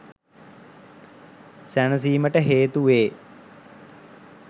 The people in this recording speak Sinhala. සැනසීමට හේතු වේ.